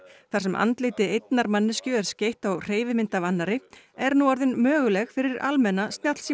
þar sem andliti einnar manneskju er skeytt á hreyfimynd af annarri er nú orðin möguleg fyrir almenna